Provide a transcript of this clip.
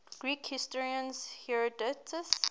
greek historian herodotus